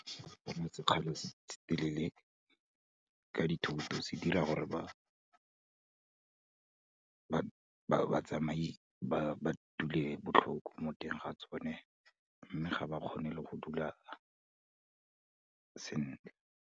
Go kgweetsa sekgala se se telele ka dithoto, se dira gore, batsamai ba dule botlhoko mo teng ga tsone mme ga ba kgone le go dula sentle.